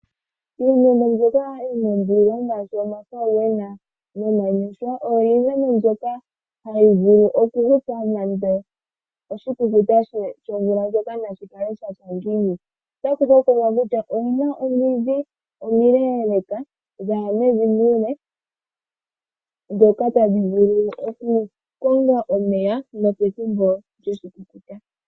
Iimeno mbyoka yina ondilo ngaashi omafauwena nomanyoshwa oyo iimeno mbyoka hayi vulu okuhupa nande oshikukuta shomvula ndjoka nashi kale shatya ngiini. Otaku hokololwa kutya oyina omidhi omileeleeka dhaya mevi muule ndhoka tadhi vulu oku konga omeya nopethimbo lyoshikukuta.